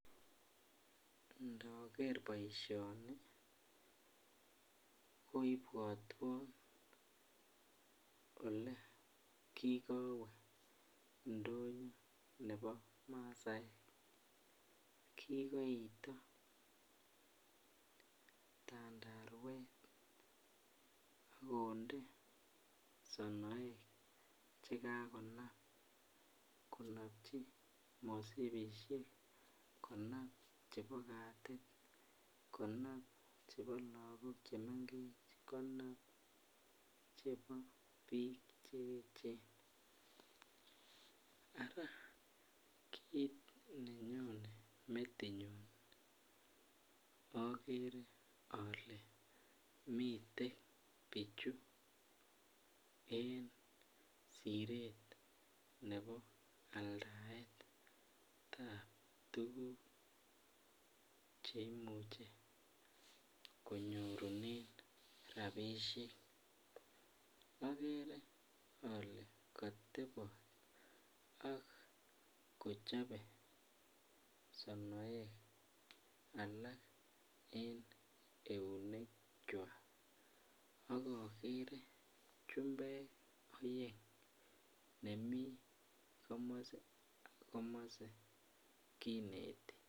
Nookerr poishonii kopwatwan olekikowee ndonyoo neboo masaek kikoitoo tandarwet akondee sonoek chekakonap konapchii mosipishek chepoo lakok chemengechen ak piik cheechen araakiit nenyonee metinyun akeree alee miten pichuu en sireet neboo aldaet ap tuku cheimuchee konyorunee rapishek ak chumbek chekinetii